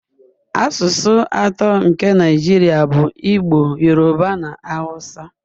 Asụsụ atọ nke Naijiria bụ Igbo, Yoruba na Hausa.